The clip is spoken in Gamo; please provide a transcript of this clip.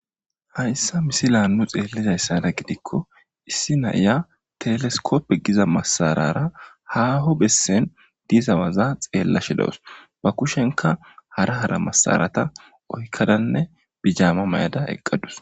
Hayssa missillan nu xelliza gidkko issi nayya teleskkope gizza masarar haho bessen deza waza xelashhshe dawus. Ba kushenkka hara hara massarathta oyqadanne bijama mayada eqqaduss.